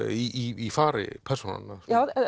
í fari persónanna